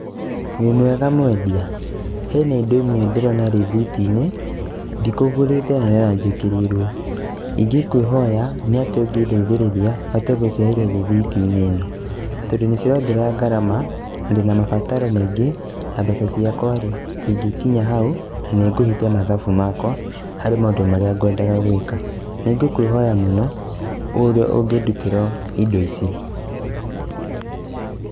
Wĩmwega mwendia? Hena indo imwe ndĩrona rithiti-inĩ, ndikũgũrĩte na no njĩkĩrĩirwo. Ingĩkwĩhoya, nĩ atĩa ũngĩndeithĩrĩria hote gũcieheria rĩthiti-inĩ ĩno, tondũ nĩcirongerera ngarama, na ndĩna mabataro maingĩ, na mbeca ciakwa-rĩ, citingĩkinya hau, na nĩngũhĩtia mathabu makwa, harĩ maũndũ marĩa ngwendaga gwĩka. Nĩngũkwĩhoya mũno, ũrĩa ũngĩndutĩra indo ici.